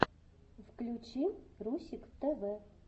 включи русик тв